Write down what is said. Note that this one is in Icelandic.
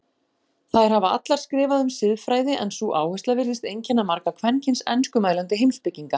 Þær hafa allar skrifað um siðfræði en sú áhersla virðist einkenna marga kvenkyns enskumælandi heimspekinga.